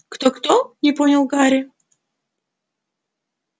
кто-кто не понял гарри